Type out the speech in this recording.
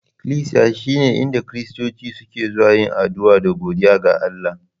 Iklisiya sune inda Kiristoci suke zuwa yin addu'a da godiya ga Allah